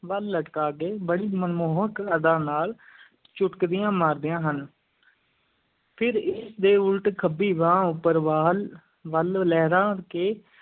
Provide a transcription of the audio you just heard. ਵੱਲ ਲਟਕਾ ਕੇ ਬੜੀ ਮਨਮੋਹਕ ਅਦਾ ਨਾਲ ਚੁਟਕੀਆਂ ਮਾਰਦੀਆਂ ਹਨ ਫਿਰ ਇਸ ਦੇ ਉਲਟ ਖੱਬੀ ਬਾਂਹ ਉੱਪਰ ਵਾਲ ਵੱਲ ਲਹਿਰਾ ਕੇ